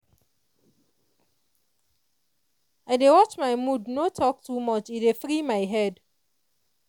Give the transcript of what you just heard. i dey watch my mood no talk too much e dey free my head.